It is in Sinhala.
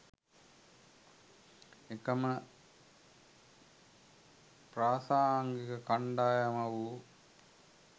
එකම ප්‍රාසාංගික කණ්ඩායම වූ